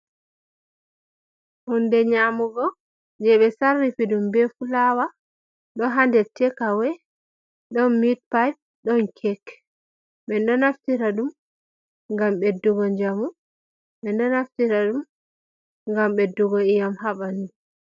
Hunde nyamugo jey ɓe sarrifi ɗum be fulaawa ɗo haa nder tek'awe ɗon midpay, ɗon kek .Min ɗo naftira ɗum ngam ɓeddugo njamu. Min ɗo naftira ɗum ngam ɓeddugo ƴii'am haa ɓanndu.